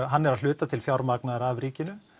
hann er að hluta til fjármagnaður af ríkinu